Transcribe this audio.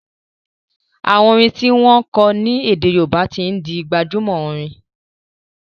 àwọn orin ti wón kò ní ede Yoruba tí ń dì gbajúmò Orin.